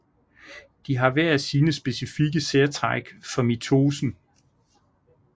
De har hver sine specifikke særtræk for mitosen